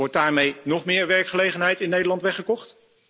Wordt daarmee nog meer werkgelegenheid in Nederland weggekocht?